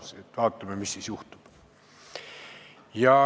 Mõtlesin, et vaatame, mis siis juhtub.